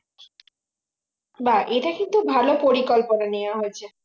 বাহ এটা কিন্তু ভালো পরিকল্পনা নেওয়া হয়েছে